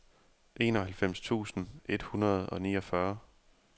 enoghalvfems tusind et hundrede og niogfyrre